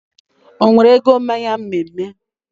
Onwere ego mmanya mme mme